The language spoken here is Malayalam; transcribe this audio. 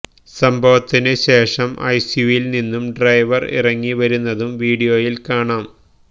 സംഭവത്തിനു ശേഷം എസ്യുവിയില് നിന്നും ഡ്രൈവര് ഇറങ്ങി വരുന്നതും വീഡിയോയില് കാണാം